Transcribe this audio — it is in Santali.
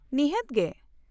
-ᱱᱤᱦᱟᱹᱛ ᱜᱮ !